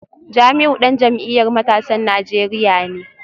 Jamiu dan jam’iyyar matasan Najeriya ne